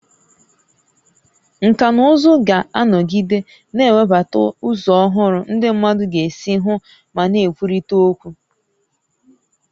Nkà na ụzụ ga-anọgide na-ewebata ụzọ ọhụrụ ndị mmadụ ga-esi hụ ma na-ekwurịta okwu